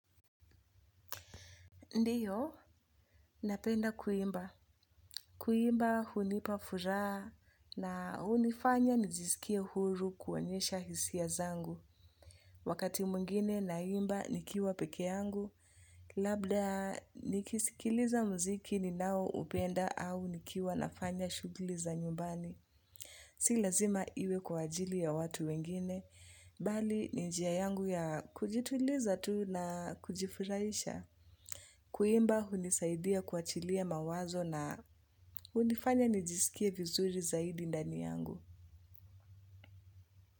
Ndiyo, napenda kuimba. Kuimba hunipaa furaha na hunifanya nijiskie huru kuonyesha hisia zangu. Wakati mwingine naimba nikiwa pekee yangu, labda nikisikiliza mziki ninaoupenda au nikiwa nafanya shughuli za nyumbani. Si lazima iwe kwa ajili ya watu wengine, bali ni njia yangu ya kujituliza tu na kujifurahisha. Kuimba hunisaidia kuachilia mawazo na hunifanya nijisikie vizuri zaidi ndani yangu.